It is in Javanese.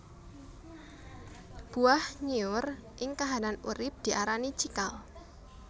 Buah nyiur ing kahanan urip diarani cikal